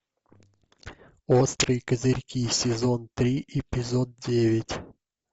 острые козырьки сезон три эпизод девять